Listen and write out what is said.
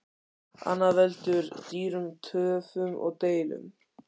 Annað veldur dýrum töfum og deilum.